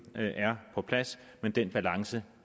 er på plads men den balance